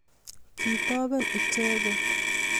Kitoben icheget